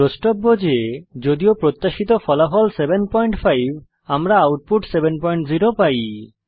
দ্রষ্টব্য যে যদিও প্রত্যাশিত ফলাফল 75 আমরা আউটপুট 70 পাই